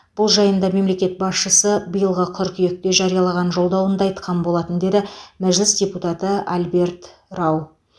бұл жайында мемлекет басшысы биылғы қыркүйекте жариялаған жолдауында айтқан болатын деді мәжіліс депутаты альберт рау